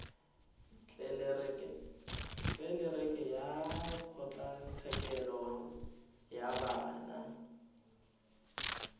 tlelereke ya kgotlatshekelo ya bana